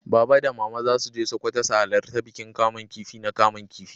Baba da mama za su je Sokoto su halarta bikin kaman kifi na kaman kifi.